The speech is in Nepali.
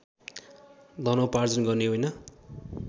धनोपार्जन गर्ने होइन